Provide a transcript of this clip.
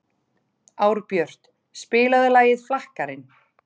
Árbjört, spilaðu lagið „Flakkarinn“.